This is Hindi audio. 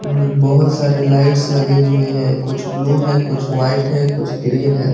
बहोत सारे लाइट्स लगे हुए हैं कुछ ब्लू हैं कुछ व्हाइट हैं कुछ ग्रीन हैं।